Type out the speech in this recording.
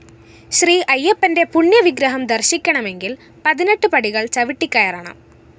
ശ്രീ അയ്യപ്പന്റെ പുണ്യ വിഗ്രഹം ദര്‍ശിക്കണമെങ്കില്‍ പതിനെട്ട് പടികള്‍ ചവിട്ടിക്കയറണം